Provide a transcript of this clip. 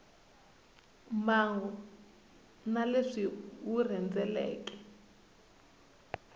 mbangu na leswi wu rhendzeleke